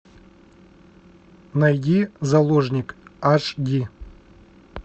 найди заложник аш ди